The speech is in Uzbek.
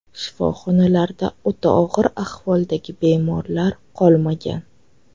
Shifoxonalarda o‘ta og‘ir ahvoldagi bemorlar qolmagan.